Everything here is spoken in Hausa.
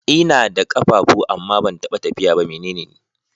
Ina da kafafu amma ban taɓa tafiya ba. Mene ne ni?